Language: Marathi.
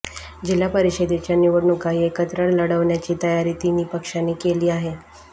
जिल्हा परिषदेच्या निवडणुकाही एकत्र लढवण्याची तयारी तिन्ही पक्षांनी केली आहे